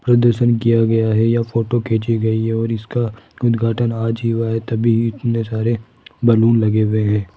प्रदर्शन किया गया है या फोटो खींची गई है और इसका उद्घाटन आज ही हुआ है तभी इतने सारे बैलून लगे हुए है।